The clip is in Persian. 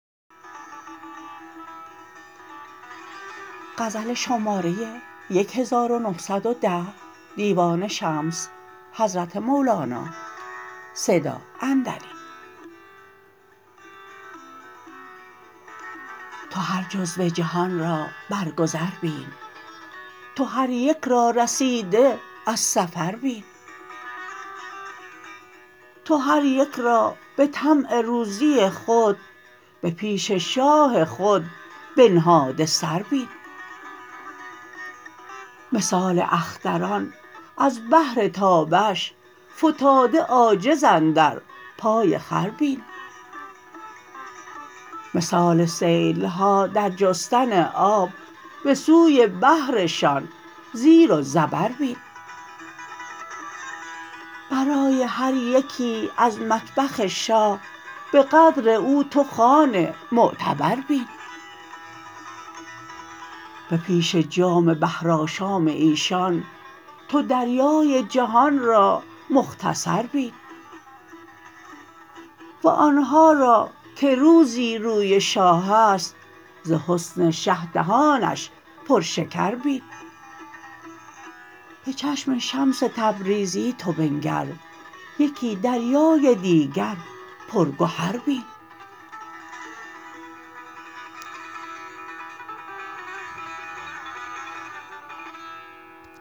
تو هر جزو جهان را بر گذر بین تو هر یک را رسیده از سفر بین تو هر یک را به طمع روزی خود به پیش شاه خود بنهاده سر بین مثال اختران از بهر تابش فتاده عاجز اندر پای خور بین مثال سیل ها در جستن آب به سوی بحرشان زیر و زبر بین برای هر یکی از مطبخ شاه به قدر او تو خوان معتبر بین به پیش جام بحرآشام ایشان تو دریای جهان را مختصر بین وان ها را که روزی روی شاه است ز حسن شه دهانش پرشکر بین به چشم شمس تبریزی تو بنگر یکی دریای دیگر پرگهر بین